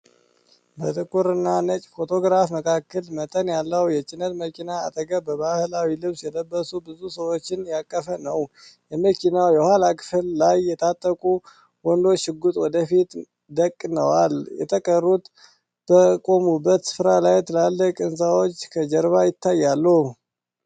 ጥቁርና ነጭ ፎቶግራፍ መካከለኛ መጠን ያለው የጭነት መኪና አጠገብ በባህላዊ ልብስ የለበሱ ብዙ ሰዎችን ያቀፈ ነው። የመኪናው የኋላ ክፍል ላይ የታጠቁ ወንዶች ሽጉጥ ወደፊት ደቅነዋል። የተቀሩት በቆሙበት ስፍራ ላይ ትላልቅ ሕንፃዎች ከጀርባ ይታያሉ .